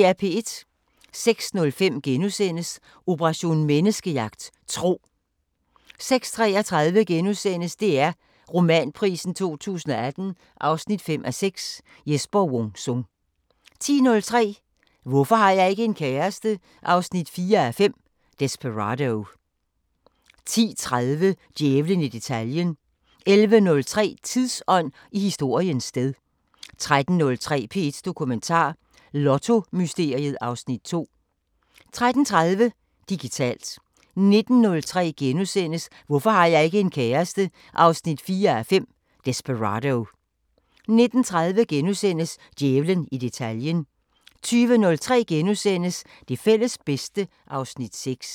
06:05: Operation Menneskejagt: Tro * 06:33: DR Romanprisen 2018 5:6 – Jesper Wung Sung * 10:03: Hvorfor har jeg ikke en kæreste? 4:5 – Desperado 10:30: Djævlen i detaljen 11:03: Tidsånd: I historiens sted 13:03: P1 Dokumentar: Lottomysteriet (Afs. 2) 13:30: Digitalt 19:03: Hvorfor har jeg ikke en kæreste? 4:5 – Desperado * 19:30: Djævlen i detaljen * 20:03: Det fælles bedste (Afs. 6)*